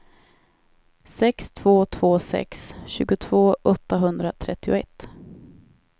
sex två två sex tjugotvå åttahundratrettioett